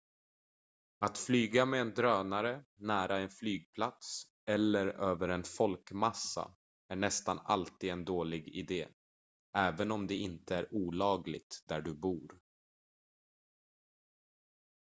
att flyga med en drönare nära en flygplats eller över en folkmassa är nästan alltid en dålig idé även om det inte är olagligt där du bor